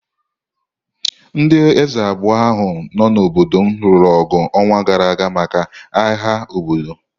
Ndị eze abụọ ahụ nọ n’obodo m lụrụ ọgụ n’ọnwa gara aga maka agha obodo.